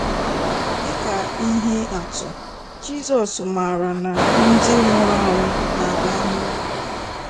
Dị ka ihe atụ, Jizọs màrà na ndị nwụrụ anwụ ‘na-arahụ ụra. '